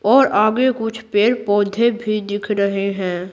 और आगे कुछ पेड़-पौधे भी दिख रहे हैं।